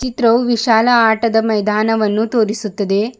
ಚಿತ್ರವು ವಿಶಾಲ ಆಟದ ಮೈದಾನವನ್ನು ತೋರಿಸುತ್ತದೆ.